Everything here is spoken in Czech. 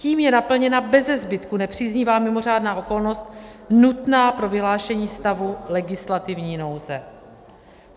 Tím je naplněna beze zbytku nepříznivá mimořádná okolnost nutná pro vyhlášení stavu legislativní nouze.